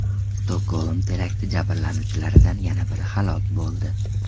Stokgolm terakti jabrlanuvchilaridan yana biri halok bo‘ldi.